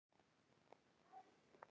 Læknirinn er í vanda.